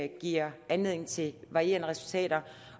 giver anledning til varierende resultater